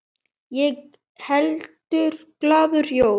Ég held glaður jól.